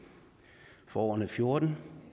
for årene og fjorten